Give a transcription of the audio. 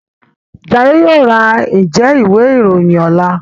Jaiye yóò rá Njé Ìwé-ìròyìn ọlá.